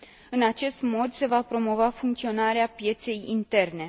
În acest mod, se va promova funcționarea pieței interne.